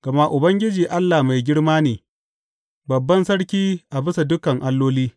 Gama Ubangiji Allah mai girma ne, babban Sarki a bisa dukan alloli.